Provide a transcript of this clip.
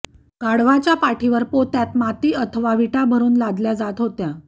गाढवाच्या पाठीवर पोत्यात माती अथवा वीटा भरून लादल्या जात होत्या